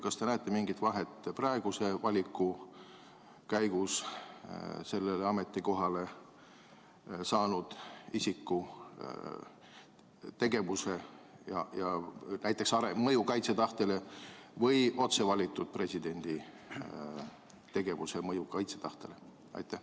Kas te näete mingit vahet praeguse valiku käigus sellele ametikohale saanud isiku ja otse valitud presidendi tegevuse mõjul kaitsetahtele?